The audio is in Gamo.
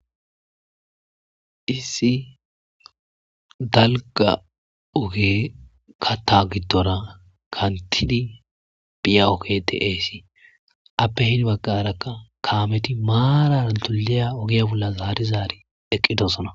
iisi dalga oge kata giddora kantidi piya oketeeesi appe hidi baqarakka kaameti maara rantuliya ogiya bolla zaari zaari eqqidossona